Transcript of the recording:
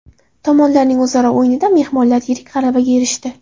Tomonlarning o‘zaro o‘yinida mehmonlar yirik g‘alabaga erishdi.